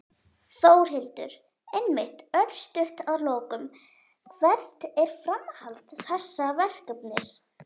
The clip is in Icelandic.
Þórhildur: Einmitt, örstutt að lokum, hvert er framhald þessa verkefnis?